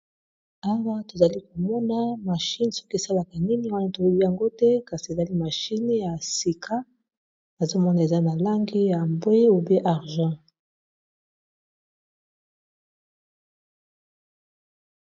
Awa tozali komona mashine soki esalaka nini wana tologi yango te kasi ezali mashine ya sika azomona eza na langi ya mbwe ub argent.